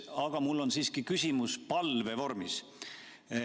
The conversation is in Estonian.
Aga mul on siiski küsimus palve vormis.